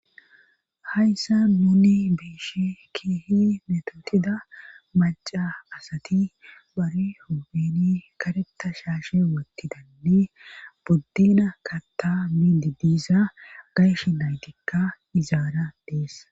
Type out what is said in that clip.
Hayssa nuni beeshe keehi metotida maca asati bari hoobeni kareta shaashe woottidanne boddena katta midi diisa gayshe naytikka izaara dees.